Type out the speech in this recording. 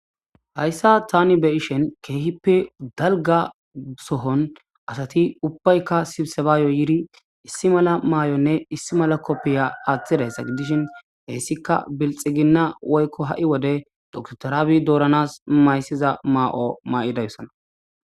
Hayssa tani be ishen keehippe dalga sohon asati ubbaykka sibsebaayo yiri issi mala maay7onne issi mala koppiya aathtideysa gidishin heessika bilxiginna woykko ha7i wode doktorabi dooranas mayssiza maa7o ma7i dayussana.